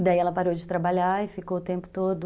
E daí ela parou de trabalhar e ficou o tempo todo...